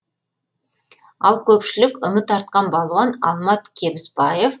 ал көпшілік үміт артқан балуан алмат кебіспаев